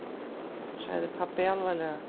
sagði pabbi alvarlega.